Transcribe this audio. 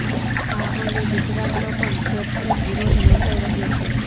આ અંગે ગુજરાતમાં પણ ઠેરઠેર વિરોધ નોંધાઈ રહ્યો છે